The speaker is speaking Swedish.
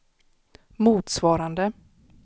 motsvarande